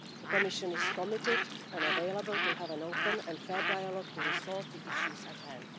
The Commission is committed and available to have an open and fair dialogue to resolve the issues at hand.